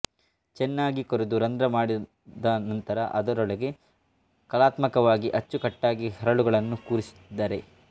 ಚೆನ್ನಾಗಿ ಕೊರೆದು ರಂಧ್ರಮಾಡಿದನಂತರ ಅದರೊಳಗೆ ಕಲಾತ್ಮಕವಾಗಿ ಅಚ್ಚುಕಟ್ಟಾಗಿ ಹರಳುಗಳನ್ನು ಕೂರಿಸಿದ್ದಾರೆ